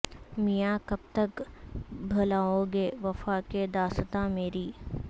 میاں کب تک بھلاو گے وفا کی داستان میری